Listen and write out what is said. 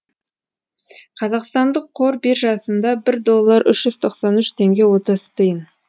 қазақстандық қор биржасында бір доллар үш жүз тоқсан үш теңге отыз тиын